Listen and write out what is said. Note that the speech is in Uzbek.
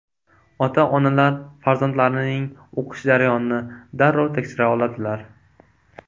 Ota-onalar farzandlarining o‘qish jarayonini darrov tekshira oladilar.